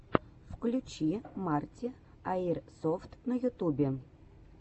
включи марти аирсофт на ютубе